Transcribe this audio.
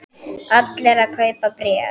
Allir að kaupa bréf